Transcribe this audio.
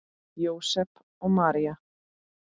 Jósep og María